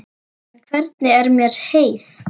Og hvernig er með heyið?